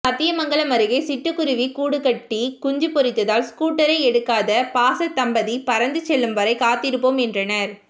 சத்தியமங்கலம் அருகே சிட்டுக்குருவி கூடுகட்டி குஞ்சு பொரித்ததால் ஸ்கூட்டரை எடுக்காத பாச தம்பதி பறந்து செல்லும் வரை காத்திருப்போம் என்றனர்